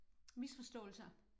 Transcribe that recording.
Misforståelser